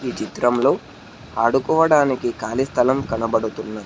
ఈ చిత్రంలో ఆడుకోవడానికి ఖాళీ స్థలం కనబడుతున్నది.